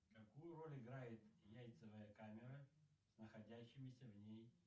какую роль играет яйцевая камера с находящимися в ней